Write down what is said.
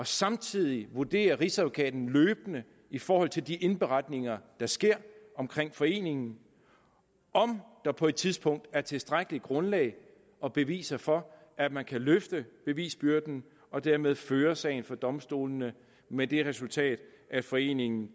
samtidig vurderer rigsadvokaten løbende i forhold til de indberetninger der sker omkring foreningen om der på et tidspunkt er tilstrækkeligt grundlag og beviser for at man kan løfte bevisbyrden og dermed føre sagen for domstolene med det resultat at foreningen